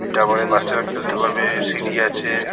এটা পরে বাচ্চারা খেলতে পারবে-এ সিঁড়ি আছে।